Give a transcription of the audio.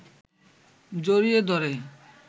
জড়িয়ে ধরে